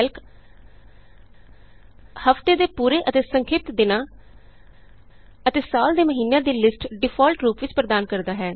Calc ਹਫ਼ਤੇ ਦੇ ਪੂਰੇ ਅਤੇ ਸੰਖਿਪਤ ਦਿਨਾਂ ਅਤੇ ਸਾਲ ਦੇ ਮਹੀਨਿਆਂ ਦੀ ਲਿਸਟ ਡਿਫਾਲਟ ਰੂਪ ਵਿਚ ਪ੍ਰਦਾਨ ਕਰਦਾ ਹੈ